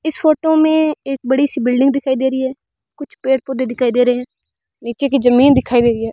इस फोटो मे एक बड़ी सी बिल्डिंग दिखाई दे री है कुछ पेड़ पौधे दिखाई दे रहे है नीचे की ज़मीन दिखाई दे री है।